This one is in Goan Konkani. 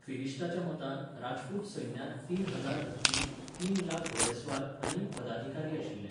फिरिष्टाच्या मतान राजपूत सैन्यांत तीन हजार हत्ती, तीन लाख घोडेस्वार आनी पदाधिकारी आशिल्ले.